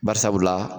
Bari sabula